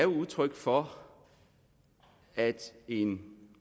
udtryk for at en